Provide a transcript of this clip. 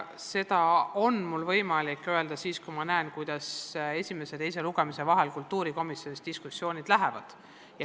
Seda on mul võimalik öelda siis, kui ma olen näinud, kuidas esimese ja teise lugemise vahel kultuurikomisjonis diskussioonid on arenenud.